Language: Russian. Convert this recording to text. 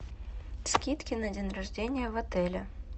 скидки на день рождения в отеле